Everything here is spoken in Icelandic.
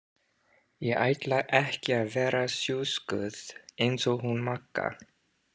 Ég ætla ekki að vera sjúskuð eins og hún Magga.